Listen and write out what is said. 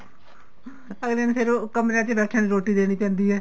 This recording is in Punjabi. ਅੱਗਲੇ ਨੇ ਫੇਰ ਉਹ ਕਮਰਿਆਂ ਚ ਬੈਠੇਆਂ ਨੂੰ ਰੋਟੀ ਦੇਣੀ ਪੈਂਦੀ ਏ